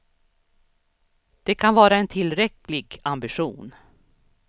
Det kan vara en tillräcklig ambition.